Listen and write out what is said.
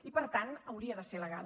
i per tant hauria de ser legal